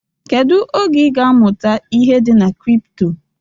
Kedu oge ị ga amụta ihe dị na kripto?